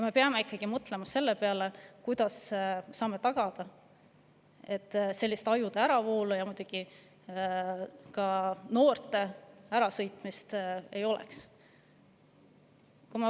Me peame ikkagi mõtlema selle peale, kuidas me saame tagada, et sellist ajude äravoolu ja noorte ärasõitmist ei oleks.